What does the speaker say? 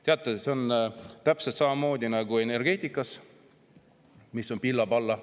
Teate, see on täpselt samamoodi nagu energeetikaga, mis on pilla-palla.